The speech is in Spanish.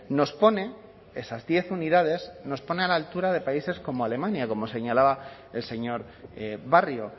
nos pone esas diez unidades nos pone a la altura de países como alemania como señalaba el señor barrio